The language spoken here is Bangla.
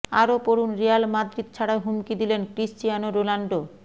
আরও পড়ুন রিয়াল মাদ্রিদ ছাড়ার হুমকি দিলেন ক্রিশ্চিয়ানো রোনাল্ডো